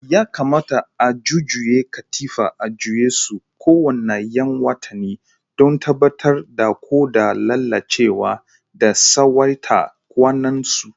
Yakamata a jujjuya katifu a juya su kowane ƴan watanni don tabbatar da ko da lalacewa da tsawaita kwanansu.